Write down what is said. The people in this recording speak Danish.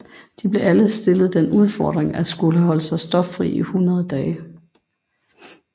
De blev alle stillet den udfordring at skulle holde sig stoffri i 100 dage